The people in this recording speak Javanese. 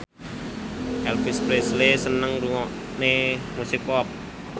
Elvis Presley seneng ngrungokne musik pop